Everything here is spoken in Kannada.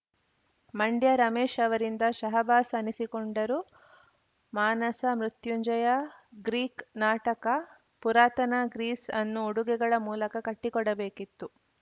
ಮಂಡ್ಯ ರಮೇಶ್‌ ಅವರಿಂದ ಶಹಬ್ಬಾಸ್‌ ಅನಿಸಿಕೊಂಡರು ಮಾನಸ ಮೃತ್ಯುಂಜಯ ಗ್ರೀಕ್‌ ನಾಟಕ ಪುರಾತನ ಗ್ರೀಸ್‌ಅನ್ನು ಉಡುಗೆಗಳ ಮೂಲಕ ಕಟ್ಟಿಕೊಡಬೇಕಿತ್ತು